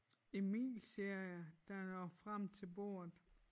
Emil siger jeg da jeg når frem til bordet